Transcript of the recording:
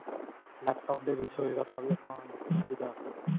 laptop ਦੇ ਵਿੱਚ ਹੋਏਗਾ ਤਾਂ ਵੀ ਆਪਾਂ ਜਿੱਥੇ ਮਰਜੀ ਜਾਂ ਸਕਦੇ ਹਾਂ .